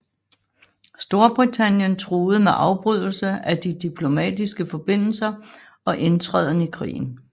Storbritannien truede med afbrydelse af de diplomatiske forbindelser og indtræden i krigen